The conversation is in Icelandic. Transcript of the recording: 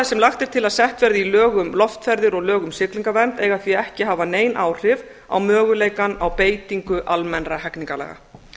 sem lagt er til að sett verði í lög um loftferðir og lög um siglingavernd eiga því ekki að hafa nein áhrif á möguleikann á beitingu almennra hegningarlaga